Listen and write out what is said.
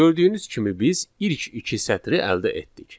Gördüyünüz kimi biz ilk iki sətri əldə etdik.